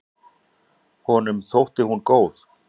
Honum þótti hún góð.